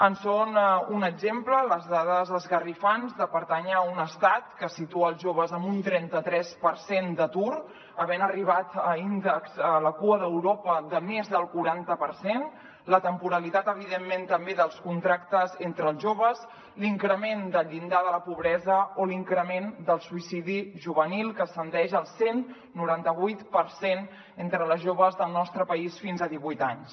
en són un exemple les dades esgarrifoses de pertànyer a un estat que situa els joves en un trenta tres per cent d’atur havent arribat a índexs a la cua d’europa de més del quaranta per cent la temporalitat evidentment també dels contractes entre els joves l’increment del llindar de la pobresa o l’increment del suïcidi juvenil que ascendeix al cent i noranta vuit per cent entre les joves del nostre país fins a divuit anys